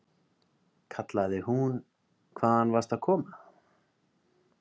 kallaði hún, hvaðan varstu að koma?